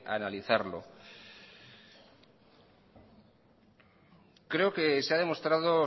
que